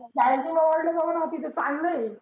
Sai Novelty ला जाऊ ना तीथं चांगलं आहे.